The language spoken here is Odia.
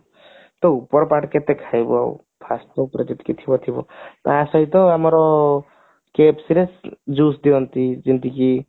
ତ ଉପର part କେତେ ଖାଇବ ଆଉ first ଥରକ କିଛି ନଥିବ ତା ସହିତ ଆମର KFC ରେ juice ଦିଅନ୍ତି ଯେମିତିକି